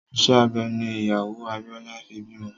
Ìṣe abẹ ní ìyàwó Abíọ́lá fi bímọ